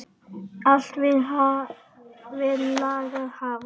Allt vill lagið hafa.